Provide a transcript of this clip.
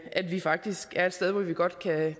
at vi faktisk er et sted hvor vi godt